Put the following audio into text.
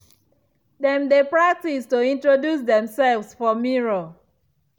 dem dey practice to introduce themselves for mirror.